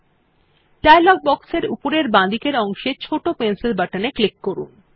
এখন dialog box এর উপরের বাঁদিকের অংশের ছোট পেন্সিল বাটন এ ক্লিক করুন